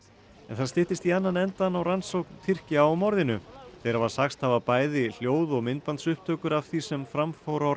það styttist í annan endann á rannsókn Tyrkja á morðinu þeir hafa sagst hafa bæði hljóð og myndbandsupptökur af því sem fram fór á